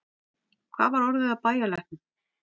Hvað var orðið af bæjarlæknum?